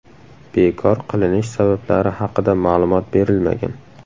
Bekor qilinish sabablari haqida ma’lumot berilmagan.